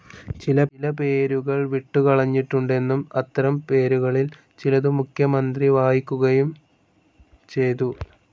ചില പേരുകൾ വിട്ടുകളഞ്ഞിട്ടുണ്ടെന്നും അത്തരം പേരുകാലിൽ ചിലതു മുഖ്യമന്ധ്രി വായിക്കുകായും ചെയ്തു